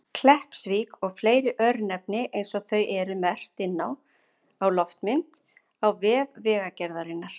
Kleppsvík og fleiri örnefni eins og þau eru merkt inn á loftmynd á vef Vegagerðarinnar.